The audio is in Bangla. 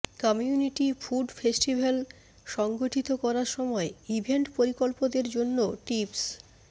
কমিউনিটি ফুড ফেস্টিভাল সংগঠিত করার সময় ইভেন্ট পরিকল্পকদের জন্য টিপস